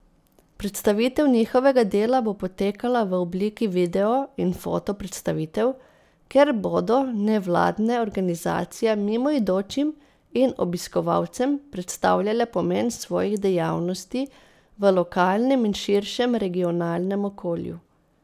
Predstavitev njihovega dela bo potekala v obliki video in foto predstavitev, kjer bodo nevladne organizacije mimoidočim in obiskovalcem predstavljale pomen svojih dejavnosti v lokalnem in širšem regionalnem okolju.